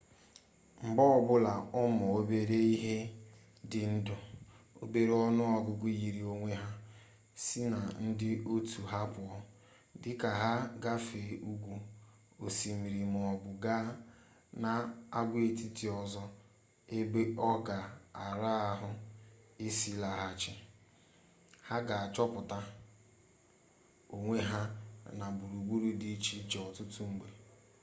mgbe ọbụla ụmụ obere ihe dị ndụ obere ọnụ ọgụgụ yiri onwe ha si na ndị otu ha pụọ dịka ha gafee ugwu osimiri maọbụ gaa n'agwaetiti ọzọ ebe ọ ga-ara ahụ isi laghachi ha ga-achọta onwe ha na gburugburu di iche ọtụtụ mgbe